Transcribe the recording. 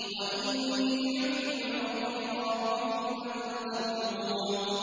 وَإِنِّي عُذْتُ بِرَبِّي وَرَبِّكُمْ أَن تَرْجُمُونِ